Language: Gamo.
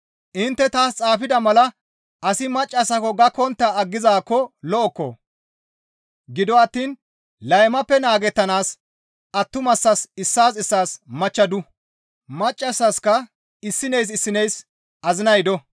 Intte taas xaafida mala asi maccassako gakkontta aggizaakko lo7okko! Gido attiin laymappe naagettanaas attumasaas issaas issaas machcha du. Maccassaska issineys issineys azinay do.